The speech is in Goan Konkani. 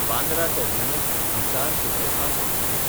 Bandra टर्मिनस–हिसार superfast express